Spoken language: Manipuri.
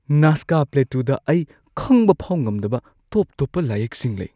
ꯅꯥꯖꯀꯥ ꯄ꯭ꯂꯦꯇꯨꯗ ꯑꯩ ꯈꯪꯕꯐꯥꯎ ꯉꯝꯗꯕ ꯇꯣꯞ-ꯇꯣꯞꯄ ꯂꯥꯏꯌꯦꯛꯁꯤꯡ ꯂꯩ꯫